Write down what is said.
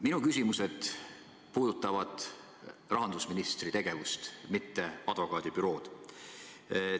Minu küsimused puudutavad rahandusministri tegevust, mitte advokaadibürood.